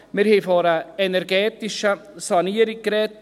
Wir haben von einer energetischen Sanierung gesprochen: